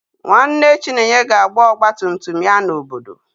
Nwanne Chinenye ga-agba ọgba tum tum ya n'obodo